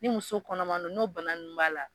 Ni muso kɔnɔmandon n'o bana nunnu b'a la